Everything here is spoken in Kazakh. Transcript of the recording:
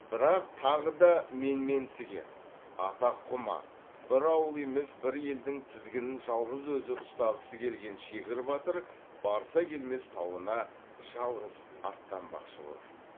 бірақ тағы да менменсіген атаққұмар бір ауыл емес бір елдің тізгінін жалғыз өзі ұстағысы келген шегір батыр барса келмес тауына жалғыз аттанбақшы болады